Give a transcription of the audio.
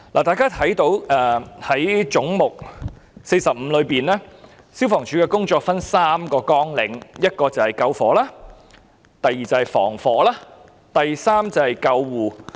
大家可以看到，在總目45下，消防處的工作分為3個綱領，第一是消防，第二是防火，第三則是救護。